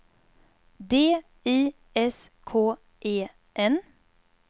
D I S K E N